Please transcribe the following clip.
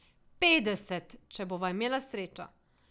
Petdeset, če bova imela srečo.